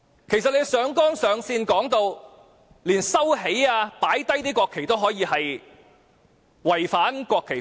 其實，按照他上綱上線的說法，不論是把國旗收起或放下也是違反國旗法。